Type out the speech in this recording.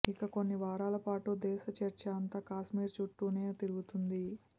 ఇక కొన్ని వారాలపాటు దేశ చర్చ అంత కాశ్మీర్ చుట్టూనే తిరుగుతుంది